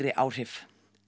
áhrif